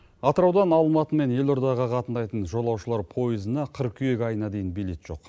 атыраудан алматы мен елордаға қатынайтын жолаушылар поезына қыркүйек айына дейін билет жоқ